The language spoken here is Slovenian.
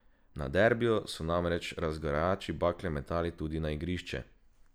Na derbiju so namreč razgrajači bakle metali tudi na igrišče.